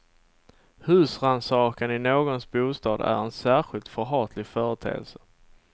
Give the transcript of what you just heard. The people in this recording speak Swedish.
Husrannsakan i någons bostad är en särskilt förhatlig företeelse.